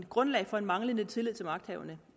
grundlag for en manglende tillid til magthaverne